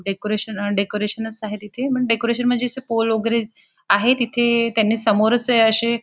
decoration decoration आहे तिथे पण डेकोरेशन म्हणजे पोल्स वैगेरे आहे तिथे त्यांनी समोरच अशे--